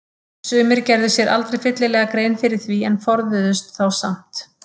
Sumir gerðu sér aldrei fyllilega grein fyrir því en forðuðust þá samt.